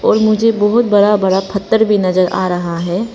और मुझे बहुत बड़ा बड़ा पत्थर भी नजर आ रहा है।